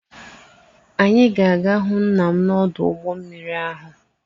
Anyị ga-aga hụ nna m n'ọdụ ụgbọ mmiri ahụ.